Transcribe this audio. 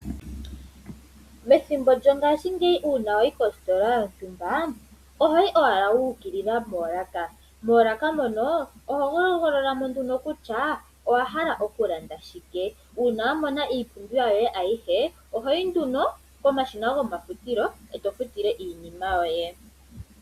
Methimbo lyo ngaashingeyi uuna wayi kositola yontumba, ohoyi owala wa ukilila poolaka. Moolaka mono oho hogolola mo nduno kutya owahala okulanda shike, uuna wa mona iipumbiwa yoye ayihe ohoyi nduno komashina go mafutilo eto futile iinima yoye.